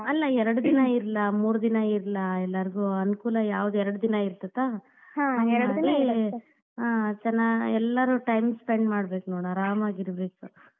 ಅಲ್ಲ ಎರಡ್ ದಿನಾ ಇರ್ಲಾ, ಮೂರ್ ದಿನಾ ಇರ್ಲಾ ಎಲ್ಲರಿಗೂ ಅನುಕೂಲ ಯಾವ್ದ್ ಎರಡ್ ದಿನಾ ಇರ್ತೇತಾ . ಹಾ ಚನ್ನಾ~ ಎಲ್ಲರೂ time spend ಮಾಡ್ಬೇಕ್ ನೋಡ್ ಆರಾಮಾಗಿರ್ಬೇಕು.